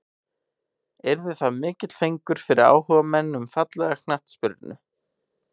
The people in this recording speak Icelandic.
Yrði það mikill fengur fyrir áhugamenn um fallega knattspyrnu.